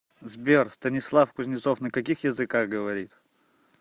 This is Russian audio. сбер станислав кузнецов на каких языках говорит